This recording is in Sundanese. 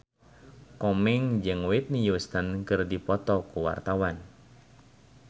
Komeng jeung Whitney Houston keur dipoto ku wartawan